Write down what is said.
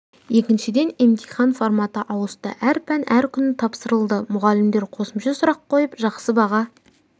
екіншіден емтихан форматы ауысты әр пән әр күні тапсырылды мұғалімдер қосымша сұрақ қойып жақсы баға